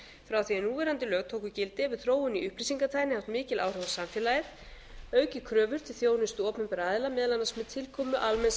frá því að núverandi lög tóku gildi hefur þróun í upplýsingatækni haft mikil áhrif á samfélagið og aukið kröfur til þjónustu opinberra aðila meðal annars með tilkomu almenns